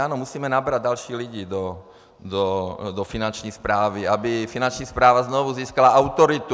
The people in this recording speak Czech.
Ano, musíme nabrat další lidi do Finanční správy, aby Finanční správa znovu získala autoritu.